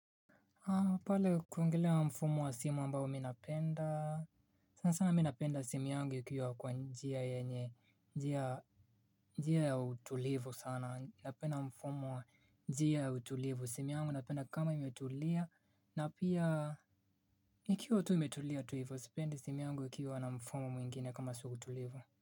Pale kuongelea mfumo wa simu ambao mi napenda, sana sana mi napenda simu yangu ikiwa kwa njia ya utulivu sana, napenda mfumo wa njia ya utulivu, simu yangu napenda kama imetulia, na pia, ikiwa tu imetulia tuivo, sipendi simu yangu ikiwa na mfumo mwingine kama si wautulivu.